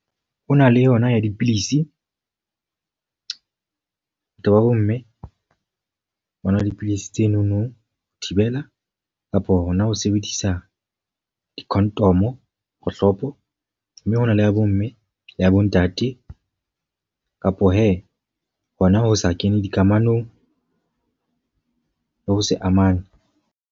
Ho na le yona ya dipilisi. Batho ba bo mme ba nwa dipilisi tsenono ho thibela kapo hona ho sebedisa di-condom, kgohlopo. Mme hona le ya bo mme le ya bo ntate kapo he, hona ho sa kene dikamanong le ho se amanye.